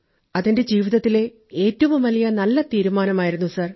അതെന്റെ ജീവിതത്തിലെ ഏറ്റവും വലിയ നല്ല തീരുമാനമായിരുന്നു സർ